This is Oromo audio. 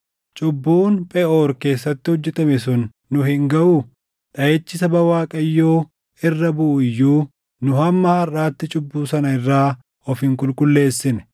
Cubbuun Pheʼoor keessatti hojjetame sun nu hin gaʼuu? Dhaʼichi saba Waaqayyoo irra buʼu iyyuu, nu hamma harʼaatti cubbuu sana irraa of hin qulqulleessine.